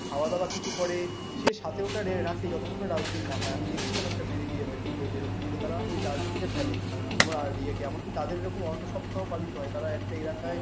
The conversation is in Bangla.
খাওয়া-দাওয়া কিছু করে সে সাথে ওটা রাখে যতক্ষণ না dustbin না পায়। আমি দেখছিলাম একটা ভিডি ইয়েতে video তে এরকম যে তারা ওই dustbin এ ফেলে। আবার ইয়ে কি এমনকি তাদের এরকম অন্ন সপ্তাহ পালিত হয় তারা একটা এলাকায়